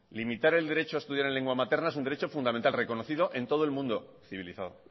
limitar el derecho a estudiar en lengua materna es un derecho fundamental reconocido en todo el mundo civilizado